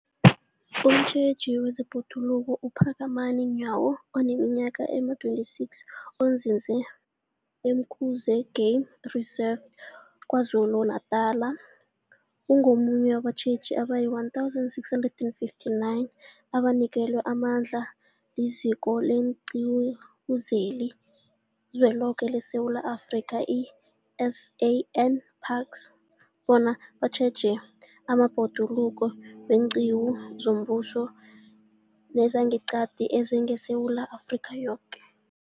Umtjheji wezeBhoduluko uPhakamani Nyawo oneminyaka ema-26, onzinze e-Umkhuze Game Reserve KwaZulu-Natala, ungomunye wabatjheji abayi-1 659 abanikelwe amandla liZiko leenQiwu zeliZweloke leSewula Afrika, i-SANParks, bona batjheje amabhoduluko weenqiwu zombuso nezangeqadi ezingeSewula Afrika yoke.